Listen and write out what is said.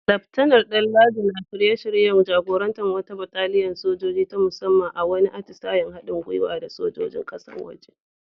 Laftanar Danladi na shirye-shiryen jagorantar wata bataliyar sojoji ta musamman a wani atisayen haɗin gwiwa da sojojin kasashen waje.